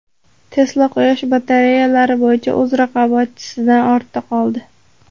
Tesla quyosh batareyalari bo‘yicha o‘z raqobatchisidan ortda qoldi.